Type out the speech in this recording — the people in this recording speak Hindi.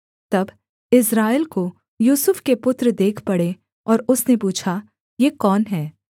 तब इस्राएल को यूसुफ के पुत्र देख पड़े और उसने पूछा ये कौन हैं